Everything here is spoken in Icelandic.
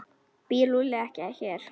Býr Lúlli ekki hér?